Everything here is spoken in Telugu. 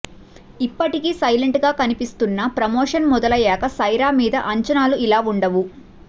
ఇప్పటికి సైలెంట్ గా కనిపిస్తున్నా ప్రమోషన్ మొదలయ్యాక సైరా మీద అంచనాలు ఇలా ఉండవు